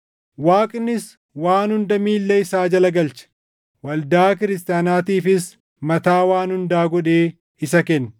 Waaqnis waan hunda miilla isaa jala galche; waldaa kiristaanaatiifis mataa waan hundaa godhee isa kenne;